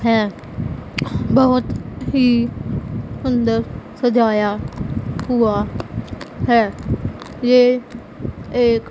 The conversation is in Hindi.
है बहोत ही सुंदर सजाया हुआ है ये एक--